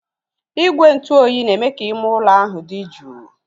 Igwe ntụ oyi na-eme ka ime ụlọ ahụ dị jụụ.